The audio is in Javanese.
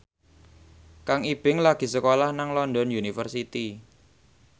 Kang Ibing lagi sekolah nang London University